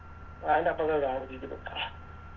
അയിൻറെ അപ്പർത്ത വീട അവര് നിക്ക്ന്നെ